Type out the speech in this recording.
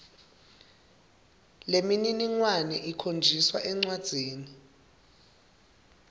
lemininingwane ikhonjiswa encwadzini